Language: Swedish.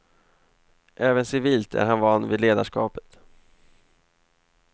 Även civilt är han van vid ledarskapet.